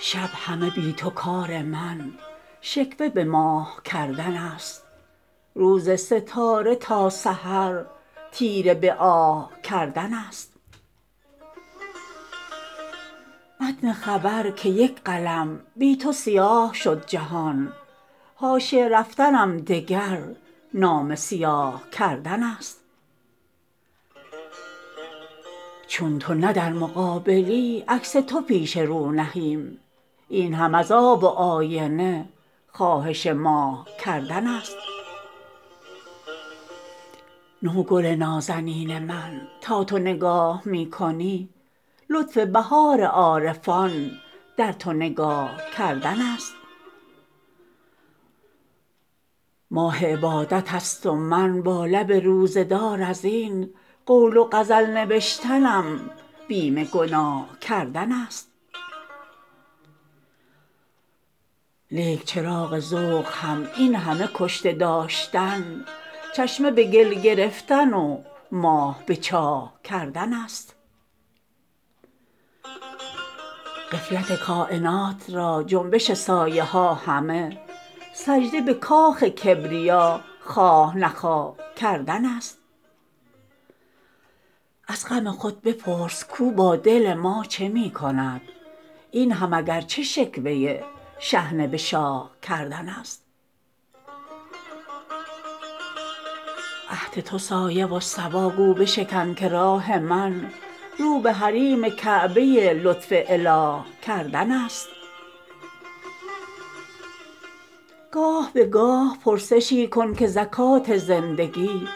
شب همه بی تو کار من شکوه به ماه کردن است روز ستاره تا سحر تیره به آه کردن است متن خبر که یک قلم بی تو سیاه شد جهان حاشیه رفتنم دگر نامه سیاه کردن است چون تو نه در مقابلی عکس تو پیش رو نهیم این هم از آب و آینه خواهش ماه کردن است نو گل نازنین من تا تو نگاه می کنی لطف بهار عارفان در تو نگاه کردن است لوح خدا نمایی و آیینه تمام قد بهتر از این چه تکیه بر منصب و جاه کردن است ماه عبادت است و من با لب روزه دار از این قول و غزل نوشتنم بیم گناه کردن است لیک چراغ ذوق هم این همه کشته داشتن چشمه به گل گرفتن و ماه به چاه کردن است من همه اشتباه خود جلوه دهم که آدمی از دم مهد تا لحد در اشتباه کردن است غفلت کاینات را جنبش سایه ها همه سجده به کاخ کبریا خواه نخواه کردن است از غم خود بپرس کو با دل ما چه می کند این هم اگرچه شکوه شحنه به شاه کردن است عهد تو سایه و صبا گو بشکن که راه من رو به حریم کعبه لطف اله کردن است گاه به گاه پرسشی کن که زکات زندگی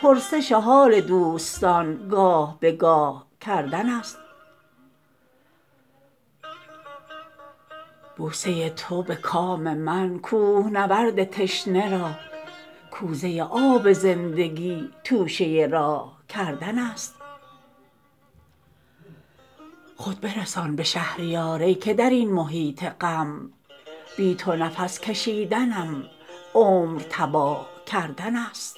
پرسش حال دوستان گاه به گاه کردن است بوسه تو به کام من کوهنورد تشنه را کوزه آب زندگی توشه راه کردن است خود برسان به شهریار ای که در این محیط غم بی تو نفس کشیدنم عمر تباه کردن است